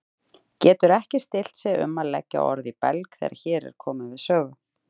Getur ekki stillt sig um að leggja orð í belg þegar hér er komið sögu.